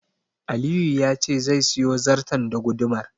Aliyu ya ce zai siyo zarton da gudumar.